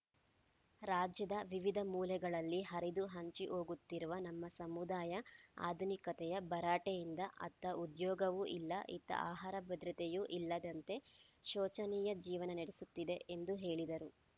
ರಾಜ್ಯದ ವಿವಿಧ ಮೂಲೆಗಳಲ್ಲಿ ಹರಿದು ಹಂಚಿಹೋಗಿರುವ ನಮ್ಮ ಸಮುದಾಯ ಆಧುನಿಕತೆಯ ಭರಾಟೆಯಿಂದ ಅತ್ತ ಉದ್ಯೋಗವೂ ಇಲ್ಲ ಇತ್ತ ಆಹಾರ ಭದ್ರತೆಯೂ ಇಲ್ಲದಂತೆ ಶೋಚನೀಯ ಜೀವನ ನಡೆಸುತ್ತಿದೆ ಎಂದು ಹೇಳಿದರು